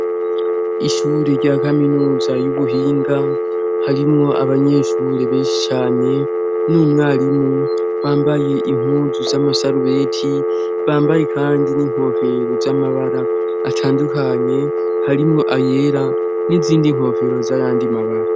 Ishure rya kaminuza y'ubuhinga harimwo abanyeshure benshi cane n'umwarimu bambaye impuzu z'amasarubeti bambaye, kandi n'inkofero z'amabara atandukanye harimwo ayera n'izindi nkofero z'arandimabara.